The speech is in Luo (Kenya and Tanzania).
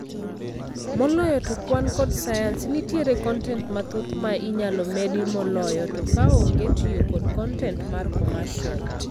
Moloyo to kwan kod science, nitiere kontent mathoth ma inyalo medi moloyo to ka onge tiyo kod kontent mar commercial